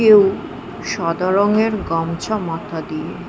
কেউ সাদা রংয়ের গামছা মাথা দিয়ে--